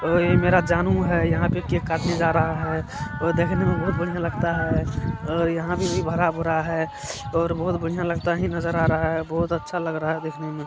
और ये मेरा जानू है यहाँ पे केक काटने जा रहा है और देखने में बहोत बढ़िया लगता है और यहाँ पे भी भरा भूरा है और बहोत बढ़िया लगता ही नजर आ रहा है बहोत अच्छा लग रहा है देखने में।